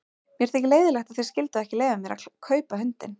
Mér þykir leiðinlegt að þið skylduð ekki leyfa mér að kaupa hundinn.